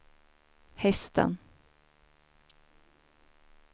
hästen